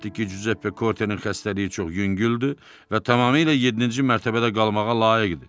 Cüzeppe Kortenin xəstəliyi çox yüngüldür və tamamilə yeddinci mərtəbədə qalmağa layiqdir.